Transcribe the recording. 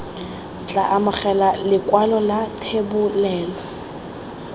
tla amogela lekwalo la thebolelo